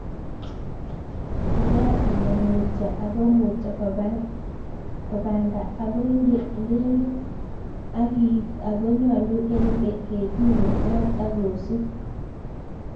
Ibwat ile mutyo ako mutyo ko banda ako indelde ak iit ako nyolu eng ketiik kobwat ak kosup.